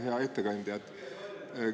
Hea ettekandja!